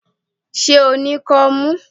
Ṣé o ní kọ́mú?